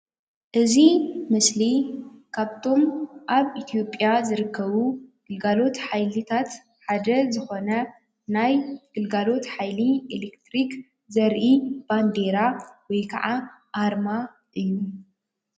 እዚ ምስሊ ካብቶም ኣብ ኢትዮጵያ ዝርከቡ ግልጋሎት ሓይልታት ሓደ ዝኮነ ናይ ግልጋሎት ሓይሊ ኤሌክትሪክ ዘርኢ ባንዴራ ወይ ከዓ ኣርማ እዩ፡፡